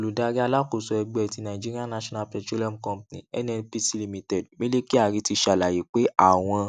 oludari alakoso ẹgbẹ ti nigerian national petroleum company nnpc limited mele kyari ti ṣalaye pe awọn